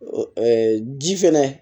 ji fɛnɛ